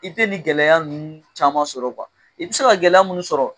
I te ni gɛlɛya ninnu caman sɔrɔ kuwa i be se ka gɛlɛya munnu sɔrɔ